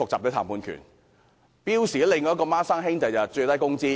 標準工時的"雙生兒"是最低工資。